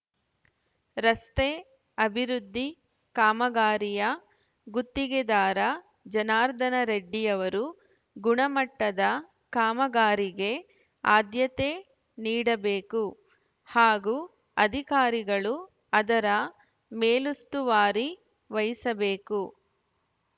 ರಸ್ತೆ ಅಭಿವೃದ್ಧಿ ಕಾಮಗಾರಿಯ ಗುತ್ತಿಗೆದಾರ ಜನಾರ್ದನರೆಡ್ಡಿಯವರು ಗುಣಮಟ್ಟದ ಕಾಮಗಾರಿಗೆ ಆದ್ಯತೆ ನೀಡಬೇಕು ಹಾಗೂ ಅಧಿಕಾರಿಗಳು ಅದರ ಮೇಲುಸ್ತುವಾರಿ ವಹಿಸಬೇಕು